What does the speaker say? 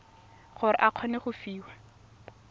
gore o kgone go fiwa